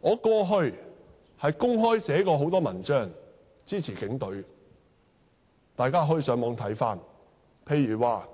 我過去曾公開寫過很多文章支持警隊，大家可以上網翻看，例如標題